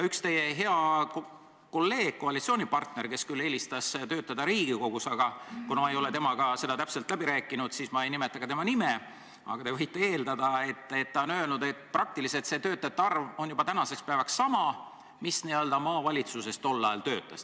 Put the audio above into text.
Üks teie hea kolleeg, koalitsioonipartner, kes küll eelistas töötada Riigikogus – kuna ma ei ole temaga seda täpselt läbi rääkinud, siis ma ei nimeta ka tema nime, aga te võite eeldada –, on öelnud, et see töötajate arv on tänaseks päevaks juba praktiliselt sama, mis maavalitsustes tol ajal.